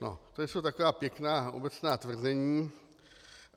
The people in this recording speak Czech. No, to jsou taková pěkná obecná tvrzení.